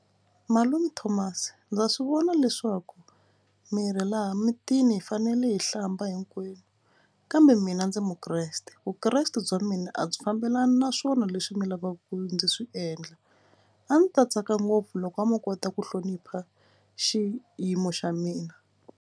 Malume Thomas ndza swi vona leswaku mi ri laha mutini hi fanele hi hlamba hinkwenu kambe mina ndzi mukreste vukreste bya mina a byi fambelani naswona leswi mi lavaka ndzi swi endla. A ndzi ta tsaka ngopfu loko mo kota ku hlonipha xiyimo xa mina.